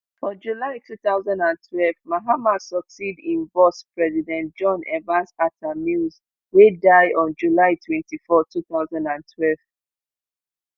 for july two thousand and twelve mahama succeed im boss president john evans atta mills wey die on july twenty-four two thousand and twelve